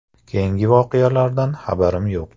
Keyingi voqealardan xabarim yo‘q.